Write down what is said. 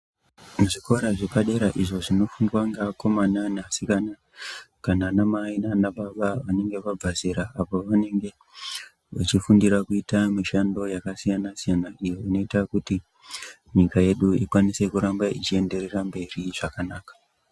Muzvikora zvepadera izvo zvinofundwa neakomana neasikana kana anamai nanababa vanenge vabva zera vanenge vachifundira kuita mishando yakasiyana siyana iyo inoita kuti nyika yedu irambe yeienderera mberi zvakanaka.